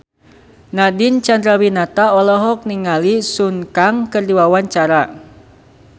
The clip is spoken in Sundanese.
Nadine Chandrawinata olohok ningali Sun Kang keur diwawancara